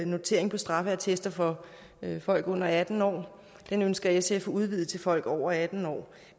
notering på straffeattesten for folk under atten år den ønsker sf udvidet til folk over atten år